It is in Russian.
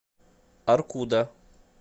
аркуда